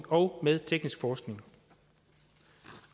og med teknisk forskning